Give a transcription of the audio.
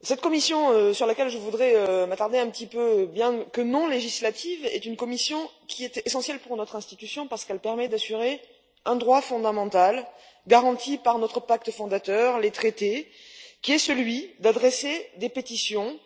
Cette commission, sur laquelle je voudrais m'attarder un petit peu, bien qu'elle soit non législative, est essentielle pour notre institution parce qu'elle permet d'assurer un droit fondamental, garanti par notre pacte fondateur les traités qui est celui d'adresser des pétitions